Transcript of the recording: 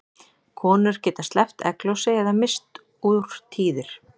Konur geta sleppt egglosi eða misst úr tíðir.